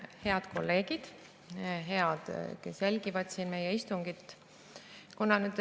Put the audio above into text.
Head kolleegid ja need, kes jälgivad meie istungit!